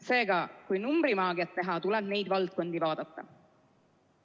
Seega, kui numbrimaagiat teha, tuleb neid valdkondi vaadata.